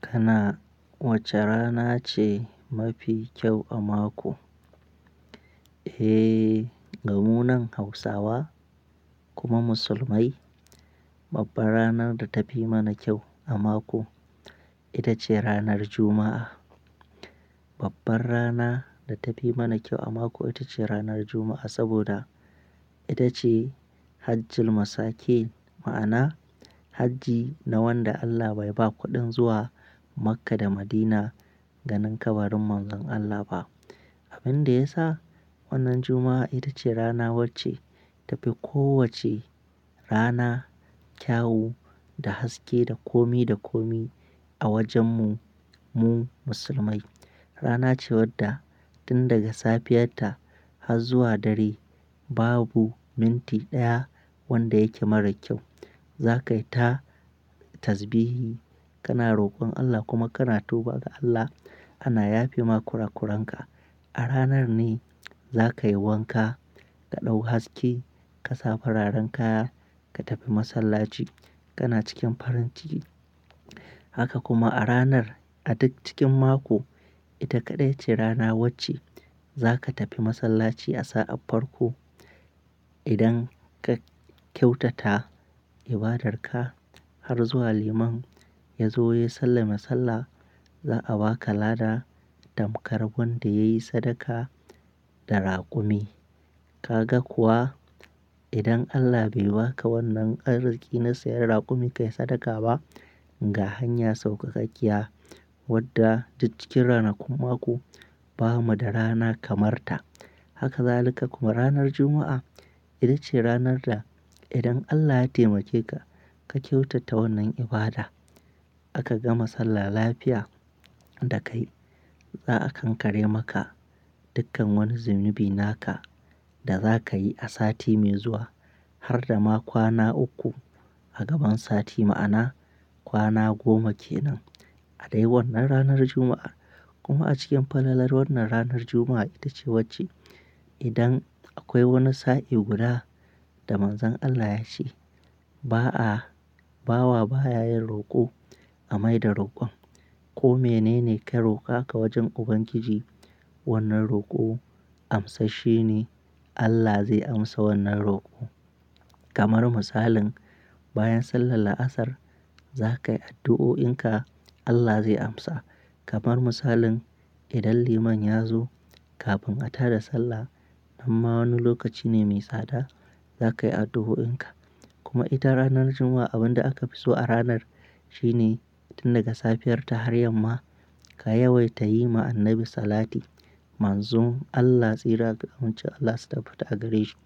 Kana wace rana ce mafi kyau a mako? Eh, gamunan Hausawa kuma Musulmai babbar ranar da tafi mana kyau a mako ita ce ranar Juma'a. Babbar rana da tafi mana kyau a mako ita ce ranar Juma'a saboda ita ce Hajji Masake. Ma'ana hajji na wanda Allah bai ba kuɗin zuwa Makka da Madina ganin kabarin Manzon Allah ba. Abin da ya sa wannan Juma'a ita ce rana wacce ta fi ko wacce rana kyawu da haske da komi da komi a wajen mu-mu Musulmai. Rana ce wadda tun daga safiyar ta har zuwa dare babu minti ɗaya wanda yake marar kyau. Za ka yi ta tasbihi, kana rokon Allah kuma kana tuba ga Allah ana yafe ma kurakuran ka. A ranar ne za ka yi wanka, ka ɗau haske ka sa fararen kaya ka tafi masallaci kana cikin farin ciki. Haka kuma a ranar a duk cikin mako ita kaɗai ce rana wacce za ka tafi masallaci a sa'a farko. Idan ka kyautata ibadar ka har zuwa liman ya zo ya sallame sallah za a ba ka lada tamkar wanda ya yi sadaka da raƙumi. Ka ga kuwa idan Allah bai ba ka wannan arziƙi na sayan raƙumi ka yi sadaka ba, ga hanya saukakaƙiya wadda duk cikin ranakun mako ba mu da rana kamar ta. Haka zalika kuma ranar Juma'a ita ce ranar da idan Allah ya taimake ka, ka kyautata wannan ibada aka ga masallan lafiya da kai, za a kankare maka dukkan wani zunubi naka da za ka yi a sati mai zuwa har da ma kwana uku a gaban sati. Ma'ana kwana goma ke nan a dai wannan ranar Juma'a. Kuma a cikin falalar wannan ranar Juma'a ita ce wacce idan akwai wani sa'i guda da Manzon Allah ya ce: "Ba'a, bawa ba ya yin roƙo a mai da roƙon." Ko mene ne ka roƙa ka wajen Ubangiji wannan roƙo amsash she ne Allah zai amsa wannan roƙo. Kamar misalin bayan sallar la'asar za ka yi addu'o'in ka Allah zai amsa. Kamar misalin idan liman ya zo kafin a tada sallah nan ma wani lokaci ne mai tsada za ka yi addu'o'in ka. Kuma ita ranar Juma'a abin da aka fi so a ranar shine tun daga safiyar ta har yamma ka yawaita yi ma Annabi Salati. Manzon Allah tsira ga amincin Allah su tabbata a gare shi